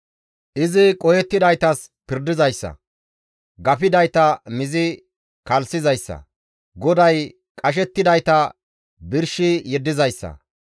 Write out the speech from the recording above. Izi qohettidaytas pirdizayssa; gafidayta mizi kalssizayssa. GODAY qashettidayta birshi yeddizayssa;